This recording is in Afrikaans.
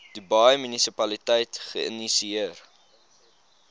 dubai munisipaliteit geïnisieer